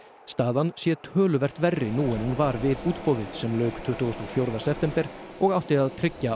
staðan sé töluvert verri nú en hún var við útboðið sem lauk tuttugasta og fjórða september og átti að tryggja